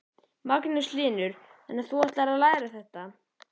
Magnús Hlynur: Þannig að þú ætlar að læra þetta?